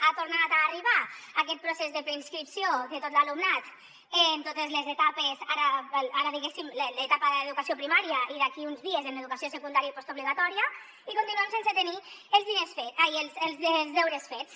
ha tornat a arribar aquest procés de preinscripció de tot l’alumnat en totes les etapes ara en l’etapa d’educació primària i d’aquí uns dies en educació secundària i postobligatòria i continuem sense tenir els deures fets